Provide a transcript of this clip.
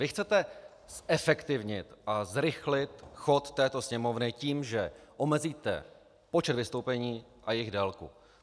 Vy chcete zefektivnit a zrychlit chod této Sněmovny tím, že omezíte počet vystoupení a jejich délku.